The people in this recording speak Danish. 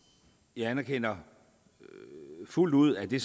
jeg anerkender fuldt ud at det